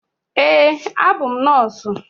Eé, abụ m nọọsụ.